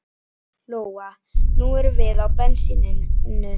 Lóa: Nú erum við á bensíninu?